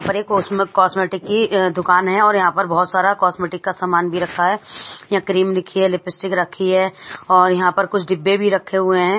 और एक कॉस्म कॉस्मेटिक की अ दुकान है और यहाँ पर बहोत सारा कॉस्मेटिक का सामान भी रखा है यहाँ क्रीम लिखी है लिपिस्टिक रखी है और यहाँ पर कुछ डिब्बे भी रखे हुए हैं।